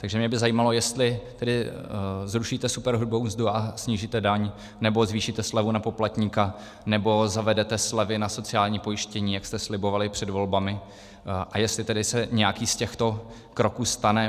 Takže mě by zajímalo, jestli tedy zrušíte superhrubou mzdu a snížíte daň, nebo zvýšíte slevu na poplatníka, nebo zavedete slevy na sociálním pojištění, jak jste slibovali před volbami, a jestli tedy se nějaký z těchto kroků stane.